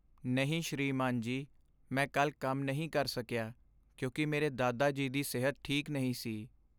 ਨਹੀਂ ਸ੍ਰੀਮਾਨ ਜੀ, ਮੈਂ ਕੱਲ੍ਹ ਕੰਮ ਨਹੀਂ ਕਰ ਸਕਿਆ ਕਿਉਂਕਿ ਮੇਰੇ ਦਾਦਾ ਜੀ ਦੀ ਸਿਹਤ ਠੀਕ ਨਹੀਂ ਸੀ।